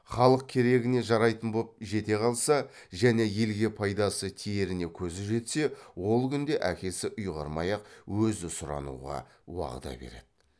халық керегіне жарайтын боп жете қалса және елге пайдасы тиеріне көзі жетсе ол күнде әкесі ұйғармай ақ өзі сұрануға уағда береді